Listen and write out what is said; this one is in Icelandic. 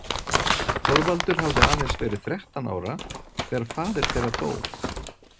Þorvaldur hafði aðeins verið þrettán ára þegar faðir þeirra dó.